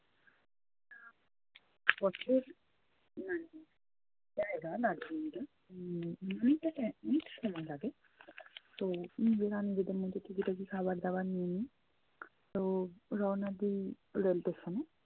পথের মানে জায়গা দার্জিলিং এ উম অনেকটা time অনেকটা সময় লাগে। তো নিজেরা নিজেদের মতো টুকিটাকি খাবার দাবার নিয়ে নি। তো রওয়ানা দিই rail station